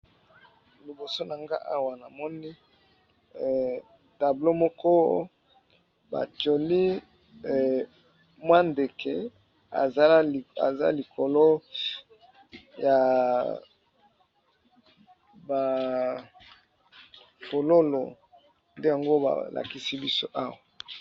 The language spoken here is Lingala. Liboso na nga awa na moni tableau moko batioli mwa ndeke aza likolo ya ba fololo, nde yango ba lakisi biso awa.